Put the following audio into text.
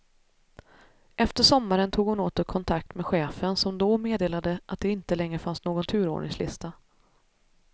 Efter sommaren tog hon åter kontakt med chefen som då meddelade att det inte längre fanns någon turordningslista.